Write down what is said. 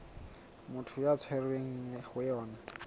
motho a tshwerweng ho yona